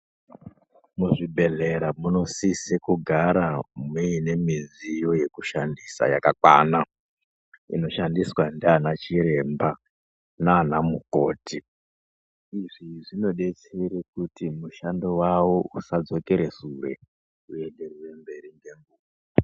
Muzvibhedhlera munosise kugara muine midziyo yekushandisa yakakwana inoshandiswa ndiana chiremba nana mukoti. Izvi zvinodetsera kuti mushando wavo usazodzokere sure huenderere mberi.